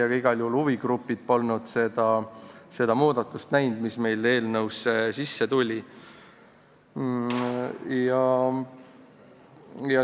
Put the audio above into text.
Igal juhul polnud huvigrupid näinud seda muudatust, mis meil eelnõusse sisse tuli.